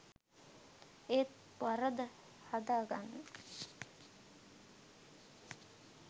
ඒත් වරද හදාගන්න